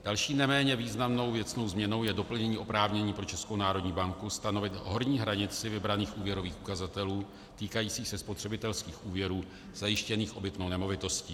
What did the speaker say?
Další neméně významnou věcnou změnou je doplnění oprávnění pro Českou národní banku stanovit horní hranici vybraných úvěrových ukazatelů týkajících se spotřebitelských úvěrů zajištěných obytnou nemovitostí.